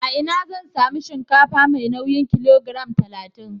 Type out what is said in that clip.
A ina zan sami shinkafa mai nauyin kilogiram talatin?